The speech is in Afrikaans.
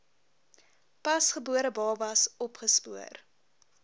pasgebore babas opgespoor